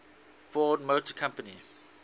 ford motor company